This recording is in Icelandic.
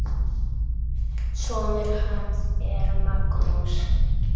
Sonur hans er Magnús.